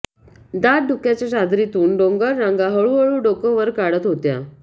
दाट धुक्याच्या चादरीतून डोंगररांगा हळूहळू डोकं वर काढत होत्या